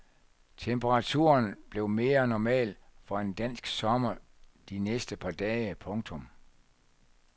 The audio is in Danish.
Temperaturen bliver mere normal for en dansk sommer de næste par dage. punktum